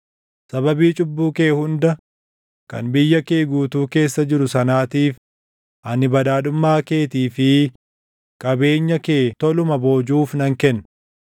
“Sababii cubbuu kee hunda kan biyya kee guutuu keessa jiru sanaatiif ani badhaadhummaa keetii fi qabeenya kee toluma boojuuf nan kenna.